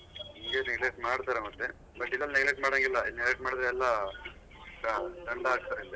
ಹಿಂಗೆ neglect ಮಾಡ್ತಾರೆ ಮತ್ತೆ but ಇಲ್ಲಿ neglect ಮಾಡಾಂಗಿಲ್ಲ neglect ಮಾಡಿದ್ರೆ ಎಲ್ಲ ದಂಡ ಹಾಕ್ತಾರೆ ಇಲ್ಲಿ.